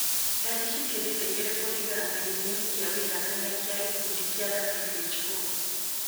Ndari cikĩrĩte igĩrĩ kũringana na gĩthimi kĩa wũiganania kĩa gĩkundi kĩa WHO